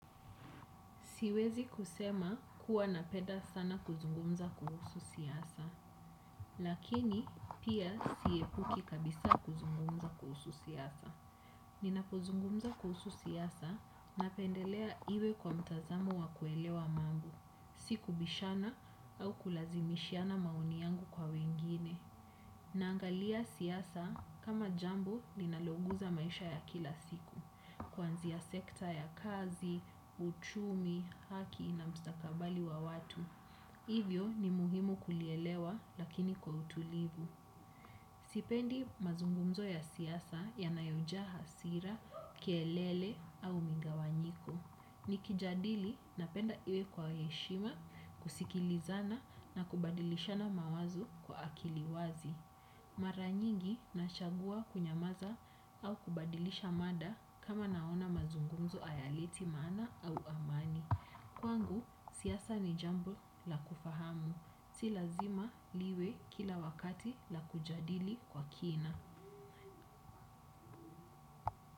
Siwezi kusema kuwa napeda sana kuzungumza kuhusu siasa, lakini pia siepuki kabisa kuzungumza kuhusu siasa. Ninapozungumza kuhusu siasa napendelea iwe kwa mtazamo wa kuelewa mambo, si kubishana au kulazimishiana maoni yangu kwa wengine. Naangalia siasa kama jambo ninaloguza maisha ya kila siku. Kuanzia sekta ya kazi uchumi haki na mustakabali wa watu. Hivyo ni muhimu kulielewa lakini kwa utulivu. Sipendi mazungumzo ya siyasa ya nayojaha hasira, kielele au mingawanyiko. Nikijadili napenda iwe kwa heshima, kusikilizana na kubadilishana mawazo kwa akiliwazi. Mara nyingi nashagua kunyamaza au kubadilisha mada kama naona mazungunzo ayaliti maana au amani. Kwangu siyasa ni jambo la kufahamu si lazima liwe kila wakati la kujadili kwa kina.